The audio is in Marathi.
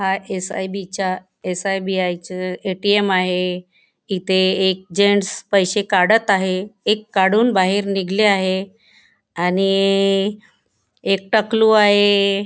हा एस_आई_बी चा एस_बी_आई चा ए_टी_एम आहे इथे एक जेन्टस पैसे काढत आहे एक काढून बाहेर निघले आहे आणि एक टकलू आहे.